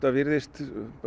virðist